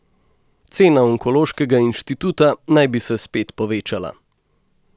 Cena Onkološkega inštituta naj bi se spet povečala.